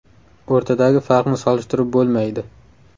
O‘rtadagi farqni solishtirib bo‘lmaydi.